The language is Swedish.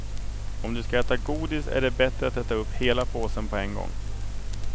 Om du ska äta godis är det bättre att äta upp hela påsen på en gång.